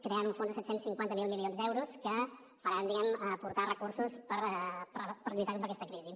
creant un fons de set cents i cinquanta miler milions d’euros que faran aportar recursos per lluitar contra aquesta crisi